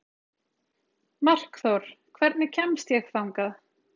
Markþór, hvernig kemst ég þangað?